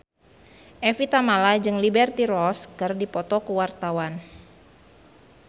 Evie Tamala jeung Liberty Ross keur dipoto ku wartawan